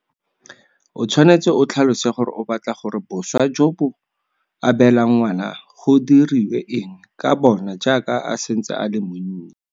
O tshwanetse o tlhalose gore o batla gore boswa jo o bo abelang ngwana go diriwe eng ka bona jaaka a santse a le monnye.